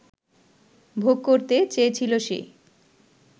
ভোগ করতে চেয়েছিল সে